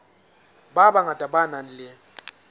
ba bangata ba nang le